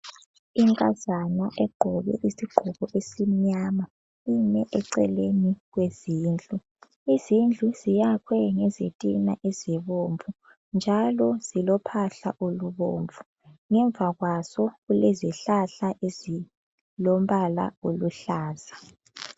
lnkazana egqoke isigqoko esimnyama ime eceleni kwezindlu. Izindlu ziyakhwe ngezitina ezibomvu njalo zilophahla olubomvu ngemva kwazo kulezihlahla ezilombala oluhlaza.